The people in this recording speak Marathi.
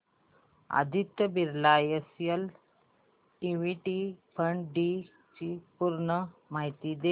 Aditya Birla SL equity fund D ची पूर्ण माहिती दे